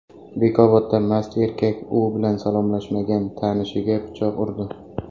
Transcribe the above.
Bekobodda mast erkak u bilan salomlashmagan tanishiga pichoq urdi.